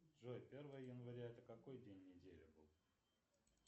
джой первое января это какой день недели был